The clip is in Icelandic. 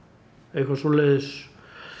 eitthvað svoleiðis